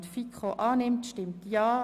Wer diesen ablehnt, stimmt Nein.